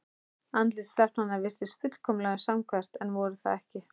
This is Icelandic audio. Andlit stelpnanna virtust fullkomlega samhverf en voru það ekki.